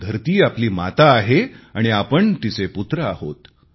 धरती आपली माता आहे आणि आपण तिचे पुत्र आहोत